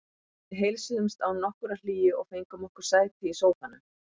Við heilsuðumst án nokkurrar hlýju og fengum okkur sæti í sófanum.